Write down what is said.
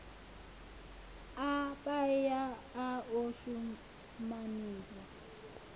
a paia a o shumaniwa